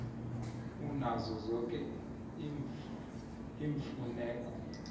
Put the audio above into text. unazo zoke iimfuneko